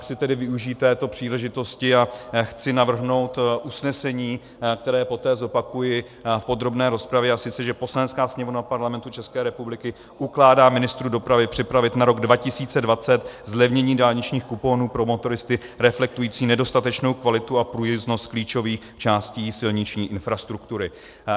Chci tedy využít této příležitosti a chci navrhnout usnesení, které poté zopakuji v podrobné rozpravě, a sice že Poslanecká sněmovna Parlamentu České republiky ukládá ministru dopravy připravit na rok 2020 zlevnění dálničních kuponů pro motoristy, reflektující nedostatečnou kvalitu a průjezdnost klíčových částí silniční infrastruktury.